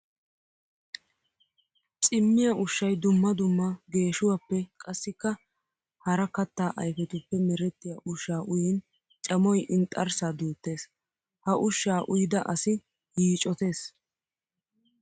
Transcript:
Cammiya ushshay dumma dumma geeshuwappe qassikka hara katta ayfiyappe meretiya ushsha uyin cammoy inxxarssa duutes. Ha ushsha uyidda asi yiiccotees.